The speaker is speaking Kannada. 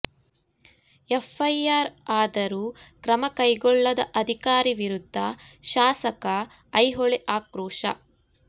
ಎಫ್ ಐ ಆರ್ ಆದರೂ ಕ್ರಮ ಕೈಗೊಳ್ಳದ ಅಧಿಕಾರಿ ವಿರುದ್ದ ಶಾಸಕ ಐಹೊಳೆ ಆಕ್ರೋಶ